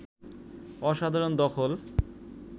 অসাধারণ দখল